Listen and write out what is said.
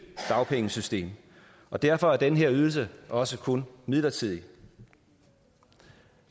dagpengesystem og derfor er den her ydelse også kun midlertidig